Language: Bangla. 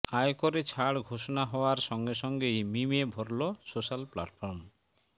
আয়করে ছাড় ঘোষণা হওয়ার সঙ্গে সঙ্গেই মিমে ভরল সোশাল প্ল্যাটফর্ম